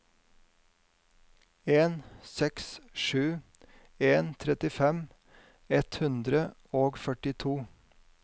en seks sju en trettifem ett hundre og førtito